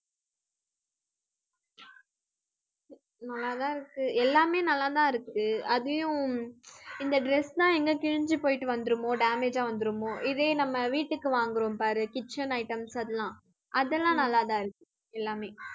நல்லா தான் இருக்கு. எல்லாமே நல்லா தான் இருக்கு அதையும் இந்த dress தான் எங்க கிழிஞ்சு போயிட்டு வந்துருமோ damage அ வந்துருமோ இதே நம்ம வீட்டுக்கு வாங்குறோம் பாரு kitchen items அதெல்லாம், அதெல்லாம் நல்லா தான் இருக்கு எல்லாமே